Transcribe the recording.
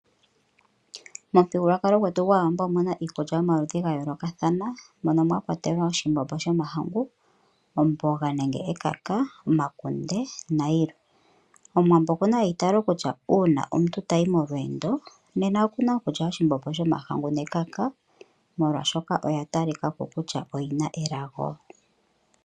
Momuthigululwakalo gwetu gwAawambo omuna iikulya yomaludhi ga yoolokathana mono mwa kwatelwa oshimbombo shomahangu, omboga nenge ekaka, omakunde nayilwe. Omuwambo okuna eitaalo kutya uuna omuntu tayi molweendo nena okuna okulya oshimbombo shomahangu nekaka molwaashoka oya talika ko kutya oyina elago.